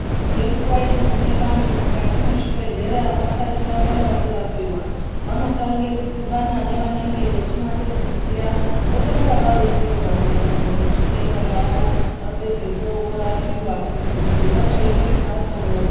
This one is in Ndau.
Ngenguwa inogume vanthu mukati mwezvibhedhlera vasati vatanga kurapiwa, vanotanga kudhibana nevanenge vachinasokuziya votanga varonzerwa maererano nezvitenda zvavo. Vapedzapo vozorapiwa kuitira kuti vazoende kumphatso voziya.